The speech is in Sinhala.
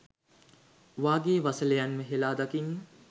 වගේ වසලයන්ව හෙලා දකින්න